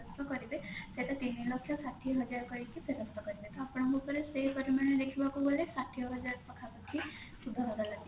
କରିବେ ସେଟା ତିନିଲକ୍ଷ ଷାଠିଏ ହଜାର କରିକି ଫେରସ୍ତ କରିବେ ତ ଆପଣଙ୍କ ଉପରେ ସେ ପରିମାଣ ରେ ଦେଖିବାକୁ ଗଲେ ଷାଠିଏ ହଜାର ପାଖାପାଖି ସୁଧହାର ଲାଗିଛି